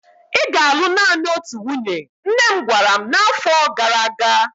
Ị ga-alụ naanị otu nwunye! nne m gwara m na afo gara aga.